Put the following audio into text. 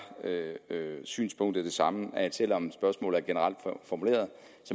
synspunktet det samme selv om spørgsmålet er generelt formuleret